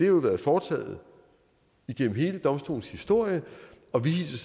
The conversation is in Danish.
jo været foretaget igennem hele domstolens historie og vi hilser